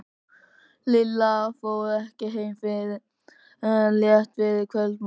Lilla fór ekki heim fyrr en rétt fyrir kvöldmat.